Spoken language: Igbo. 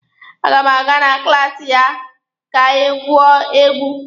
A ga m aga na klaasi ya ka anyị gwuo egwu.